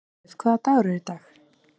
Dýrleif, hvaða dagur er í dag?